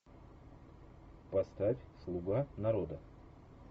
поставь слуга народа